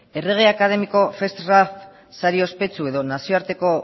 errege akademiko ospetsu edo nazioarteko